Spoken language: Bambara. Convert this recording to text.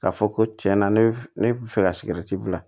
K'a fɔ ko tiɲɛ na ne bɛ fɛ ka sigɛriti bila